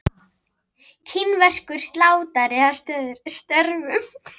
Kínverskur slátrari að störfum.